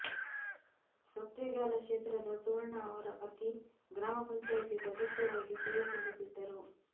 ಸತ್ತೇಗಾಲ ಕ್ಷೇತ್ರದ ಸುವರ್ಣಾ ಅವರ ಪತಿ ಗ್ರಾಮ ಪಂಚಾಯಿತಿ ಸದಸ್ಯರಾಗಿ ಸೇವೆ ಸಲ್ಲಿಸಿದ್ದರು